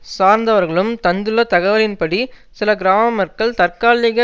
சார்ந்தவர்களும் தந்துள்ள தகவலின்படி சில கிராம மக்கள் தற்காலிக